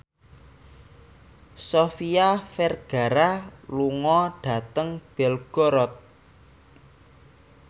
Sofia Vergara lunga dhateng Belgorod